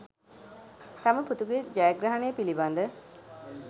තම පුතුගේ ජයග්‍රහණය පිළිබඳ